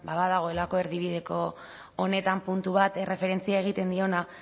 badagoelako erdibideko honetan puntu bat erreferentzia egiten diona